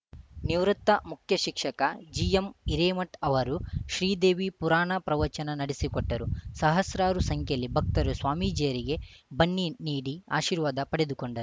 ನಿವೃತ್ತ ಮುಖ್ಯಶಿಕ್ಷಕ ಜಿಎಂ ಹಿರೇಮಠ್ ಅವರು ಶ್ರೀದೇವಿ ಪುರಾಣ ಪ್ರವಚನ ನಡೆಸಿಕೊಟ್ಟರು ಸಹಸ್ರಾರು ಸಂಖ್ಯೆಯಲ್ಲಿ ಭಕ್ತರು ಸ್ವಾಮೀಜಿಯರಿಗೆ ಬನ್ನಿ ನೀಡಿ ಆಶೀರ್ವಾದ ಪಡೆದುಕೊಂಡರು